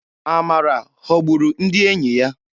Amara ghọburu ndị enyi ya.